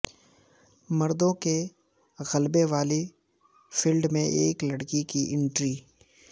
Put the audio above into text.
مردوں کے غلبے والی فیلڈ میں ایک لڑکی کی انٹری